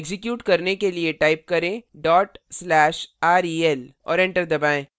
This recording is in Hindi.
एक्जीक्यूट करने के लिए type करें/rel और enter दबाएँ